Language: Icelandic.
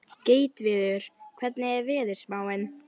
Gautviður, hvernig er veðurspáin?